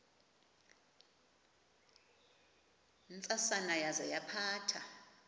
ntsasana yaza yaphatha